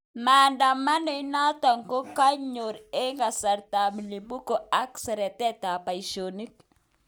maandamano inaton ko kanyon en kasartan ap mlipuko ak seretet ap paishonik